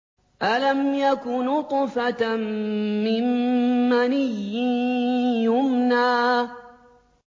أَلَمْ يَكُ نُطْفَةً مِّن مَّنِيٍّ يُمْنَىٰ